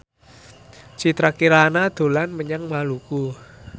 Citra Kirana dolan menyang Maluku